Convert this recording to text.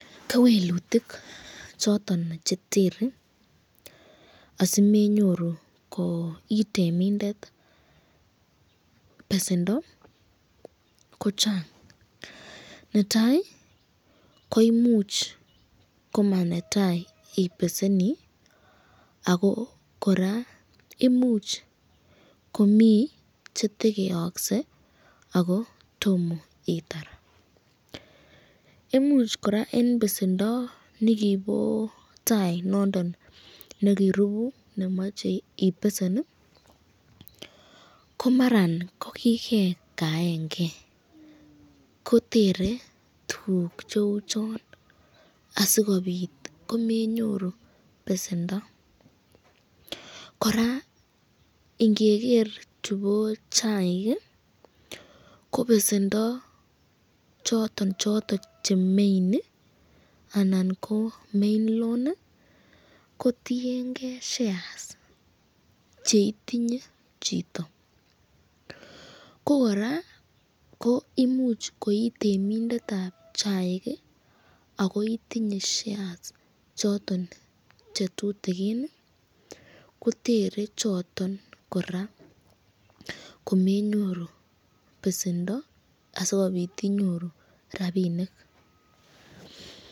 Kewelutik choton chetere asimenyoru koo itemindet besendoo kochang, netai ko imuch komanetai ibeseni ako kora imuch komii chetokeyokse ako tomo itar, imuch kora en besendo nekibo tai noondon nekirubu nemoche ibesen ii komaran ko kikekaengee kotere tuguk cheu chon, asikobit komenyoru besendo, kora ingeker chubo chaik ii kobesendo choto choton che main anan koo main loan kotiengee shares cheitinye chito, koo kora ko imuch koitemindetab chaik akoo itinye shares choton che tutigin ii kotere choton kora komenyoru besendo asikobit inyoru rapinik.